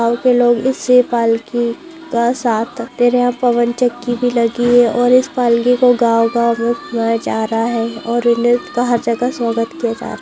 गांव के लोग पवन चक्की भी लगी हुई है